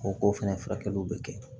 O k'o fɛnɛ furakɛliw bɛ kɛ